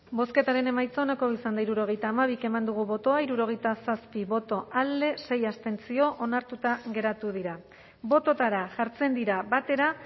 bozketaren emaitza onako izan da hirurogeita hamabi eman dugu bozka hirurogeita zazpi boto alde sei abstentzio onartuta geratu dira bototara jartzen dira batera